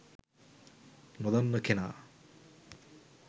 නොදන්න කෙනා